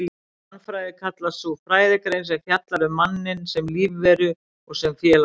Mannfræði kallast sú fræðigrein sem fjallar um manninn sem lífveru og sem félagsveru.